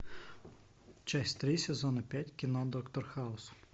часть три сезона пять кино доктор хаус